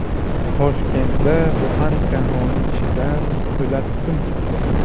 Toshkentda buxanka non ichidan po‘lat sim chiqdi.